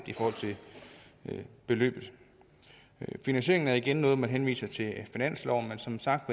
i forhold til beløbet finansieringen er igen noget hvor man henviser til finansloven men som sagt